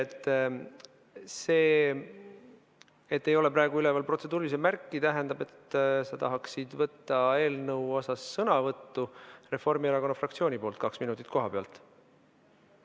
Kas see, et ei ole praegu üleval protseduurilise märki, tähendab, et sa tahaksid võtta eelnõu kohta sõna Reformierakonna fraktsiooni nimel kaks minutit kohapealt?